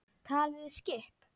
Talið skip?